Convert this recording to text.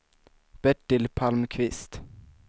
Bertil Palmqvist